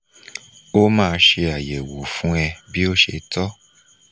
o ma se ayewo fun e bi o se to